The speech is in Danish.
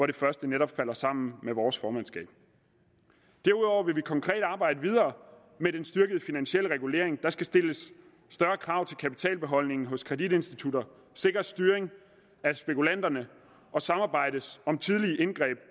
det første netop falder sammen med vores formandskab derudover vil vi konkret arbejde videre med den styrkede finansielle regulering der skal stilles større krav til kapitalbeholdningen hos kreditinstitutter sikres styring af spekulanterne og samarbejdes om tidlige indgreb